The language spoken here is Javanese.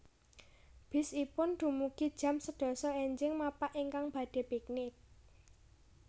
Bis ipun dumugi jam sedasa enjing mapak ingkang badhe piknik